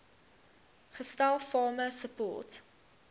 gestel farmer support